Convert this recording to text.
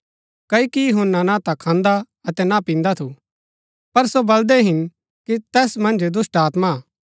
क्ओकि यूहन्‍ना ना ता खान्दा अतै ना पिन्दा थु पर सो बलदै हिन कि तैस मन्ज दुष्‍टात्मा हा